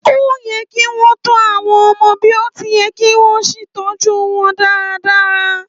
Óye kí wọn tó àwọn ọmọ bí o ti yẹ kí wọn sì tọjú wọn dáradára